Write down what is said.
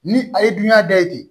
Ni a ye dunan da ye ten